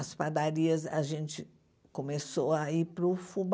As padarias, a gente começou a ir para o fubá.